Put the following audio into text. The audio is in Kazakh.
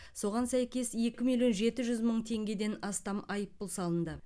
соған сәйкес екі миллион жеті жүз мың теңгеден астам айыппұл салынды